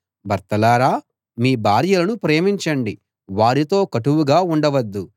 భర్తలారా మీ భార్యలను ప్రేమించండి వారితో కటువుగా ఉండవద్దు